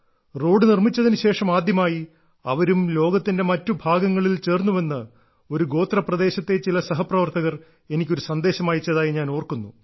road നിർമ്മിച്ചതിനുശേഷം ആദ്യമായി അവരും ലോകത്തിന്റെ മറ്റു ഭാഗങ്ങളിൽ ചേർന്നുവെന്ന് ഒരു ഗോത്ര പ്രദേശത്തെ ചില സഹപ്രവർത്തകർ എനിക്ക് ഒരു സന്ദേശം അയച്ചതായി ഞാൻ ഓർക്കുന്നു